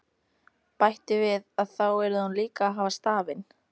Bætti við að þá yrði hún líka að hafa stafinn.